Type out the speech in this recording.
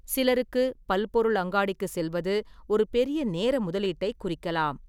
சிலருக்கு, பல்பொருள் அங்காடிக்குச் செல்வது ஒரு பெரிய நேர முதலீட்டைக் குறிக்கலாம்.